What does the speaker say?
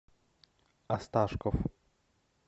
осташков